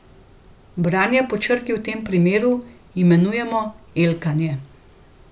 Branje po črki v tem primeru imenujemo elkanje.